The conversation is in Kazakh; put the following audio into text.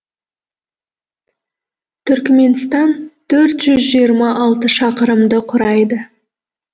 түркіменстан төрт жүз жиырма алты шақырымды құрайды